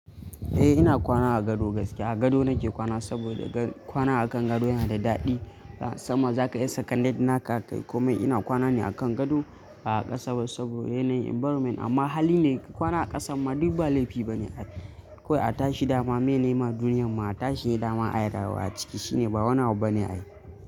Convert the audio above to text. Eh ina kwana a gado gaske a gado nake kwana saboda kwana akan gado yana da daɗi. Sama zaka iya secondary naka kai komai ina kwana ne akan gado ba a ƙasa ba saboda yanayin environment amma hali ne kwana a ƙasan ma duk ba laifi bane akwai a tashi dama menene ma duniyar mu a tashi ne dama ayi rayuwa a ciki shine ba wani abu bane ai.